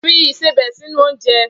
Fi ìsebẹ̀ sínú oúnjẹ!